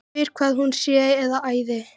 Spyr hvað hún sé að æða.